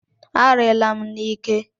A riila m n'ike!